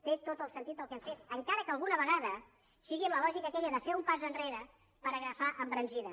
té tot el sentit el que hem fet encara que alguna vegada sigui amb la lògica aquella de fer un pas enrere per agafar embranzida